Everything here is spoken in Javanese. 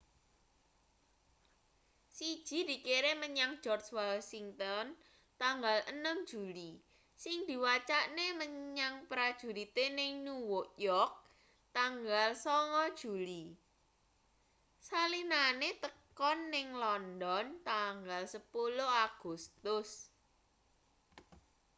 siji dikirim menyang george washington tanggal 6 juli sing diwacakne menyang prajurite ning new york tanggal 9 juli salinane tekan ning london tanggal 10 agustus